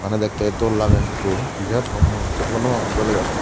edekkey dol lagey hintu hi ar hom mui hissu hobor nw pangor doley daley.